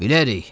Bilərik.